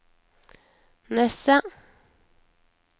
Nesset